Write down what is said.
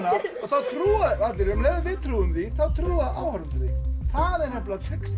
og þá trúa því allir um leið og við trúum því þá trúa áhorfendur því það er nefnilega trixið